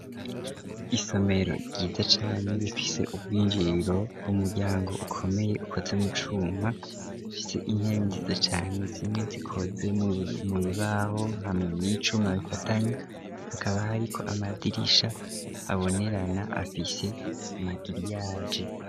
Isomero ryiza cane rifise ubw'injiro w'umuryango ukomeye ukoze mucuma fise intebe nziza cane zimwe zikoze mu bibaho hamwe n'icuma bifatanye, hakaba hari ko amadirisha abonerana afise magiriyaje.